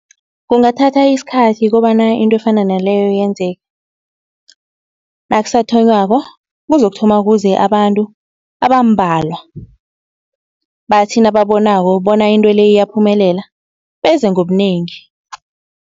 Kungathatha isikhathi kobana into efana naleyo yenzeke. Nakusathonywako kuzokuthoma kuze abantu abambalwa, bathi nababonako bona into le iyaphumelela beze ngobunengi.